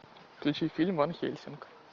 включи фильм ван хельсинг